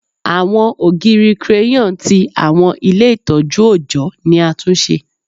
Awọn ogiri crayon ti awọn ile itọju ọjọ ni a tun ṣe